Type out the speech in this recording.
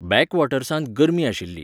बॅकवॉटर्सांत गरमी आशिल्ली.